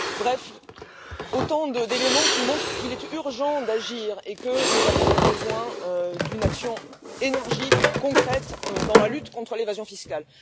Bref, autant d'éléments qui montrent qu'il est urgent d'agir et que nous avons besoin d'une action énergique et concrète dans la lutte contre l'évasion fiscale.